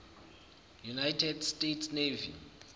united states navy